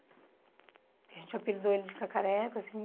A gente apelidou ele de Cacareco, assim.